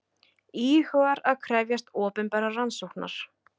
Íhugar að krefjast opinberrar rannsóknar